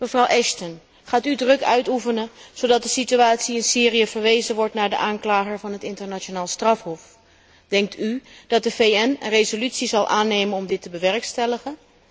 Mevrouw Ashton, gaat u druk uitoefenen, zodat de situatie in Syrië verwezen wordt naar de aanklager van het Internationaal Strafhof? Denkt u dat de VN een resolutie zal aannemen om dit te bewerkstelligen?